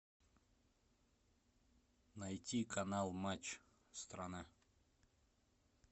найти канал матч страна